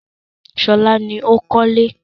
Ṣọlá ni ó ń kọ́lé.